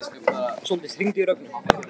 Sóldís, hringdu í Rögnu.